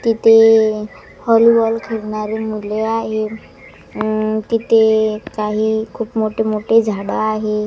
तिथे हॉलीबॉल खेळणारी मुले आहेत अम तिथे काही खूप मोठे मोठे झाडं आहे.